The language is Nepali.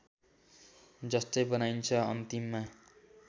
जस्तै बनाइन्छ अन्तिममा